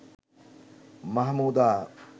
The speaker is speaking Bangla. মাহমুদা